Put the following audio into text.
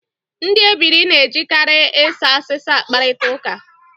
Ndị ebiri na-ejikarị ịsa asịsa akparịta ụka